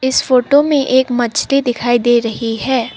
इस फोटो में एक मछली दिखाई दे रही है।